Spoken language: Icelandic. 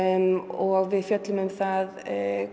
og við fjöllum um það